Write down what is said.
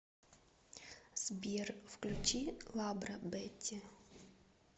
сбер включи лабро бетти